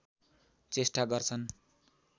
चेष्टा गर्छन्